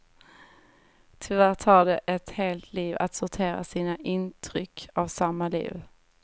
Tyvärr tar det ett helt liv att sortera sina intryck av samma liv.